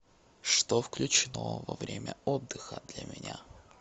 что включено во время отдыха для меня